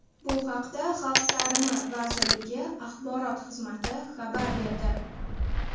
Bu haqda Xalq ta’limi vazirligi axborot xizmati xabar berdi.